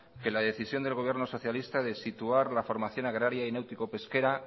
que la decisión del gobierno socialista de situar la formación agraria y náutico pesquera